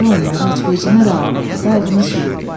Qoca onları heç vecinə də almırdı, qayğını sürürdü.